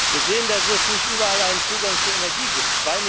Wir sehen, dass es nicht überall einen Zugang zu Energie